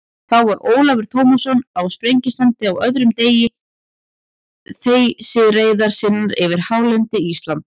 Þá var Ólafur Tómasson á Sprengisandi á öðrum degi þeysireiðar sinnar yfir hálendi Íslands.